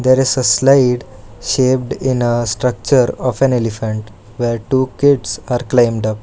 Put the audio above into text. There is a slide shaped in a structure of an elephant where two kids are climbed up.